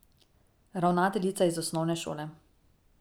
Ravnateljica iz osnovne šole.